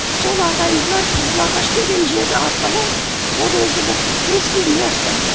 сол ағайындылар қызылағаш деген жер арқылы ол өзі бір узкий место